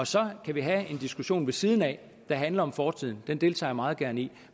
så kan vi have en diskussion ved siden af der handler om fortiden den deltager jeg meget gerne i